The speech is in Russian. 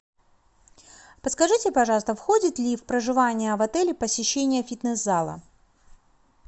подскажите пожалуйста входит ли в проживание в отеле посещение фитнес зала